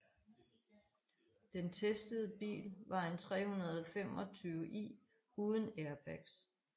Den testede bil var en 325i uden airbags